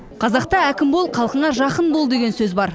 қазақта әкім бол халқыңа жақын бол деген сөз бар